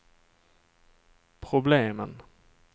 problemen